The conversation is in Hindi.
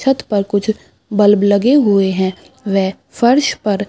छत पर कुछ बल्ब लगे हुए हैं वे फर्श पर --